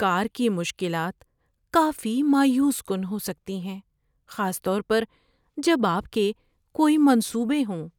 کار کی مشکلات کافی مایوس کن ہو سکتی ہیں، خاص طور پر جب آپ کے کوئی منصوبے ہوں۔